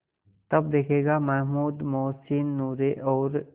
तब देखेगा महमूद मोहसिन नूरे और